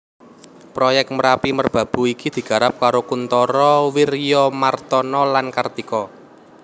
Proyèk Merapi Merbabu iki digarap karo Kuntara Wiryamartana lan Kartika